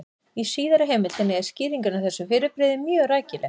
Í síðari heimildinni er skýringin á þessu fyrirbrigði mjög rækileg: